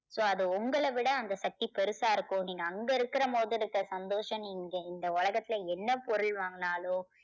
so அது உங்களை விட அந்த சக்தி பெருசா இருக்கும். நீங்க அங்க இருக்குற போது இருக்க சந்தோஷம் நீங்க இந்த உலகத்தில என்ன பொருள் வாங்கினாலோ